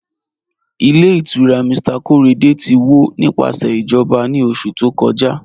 Ilẹ̀ ìtura Mr Korede ti wọ́ nípasẹ̀ ijọba ni oṣù tó kọ́jà